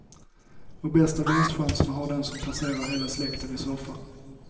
Och bästa vinstchanserna har den som placerar hela släkten i soffan.